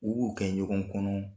U b'u kɛ ɲɔgɔn kɔnɔ